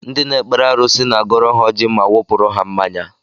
Ndị na-ekpere arụsị na-agọrọ ha ọjị ma wụpụrụ ha mmanya